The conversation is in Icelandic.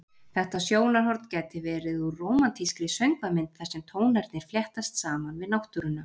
Þetta sjónarhorn gæti verið úr rómantískri söngvamynd þar sem tónarnir fléttast saman við náttúruna.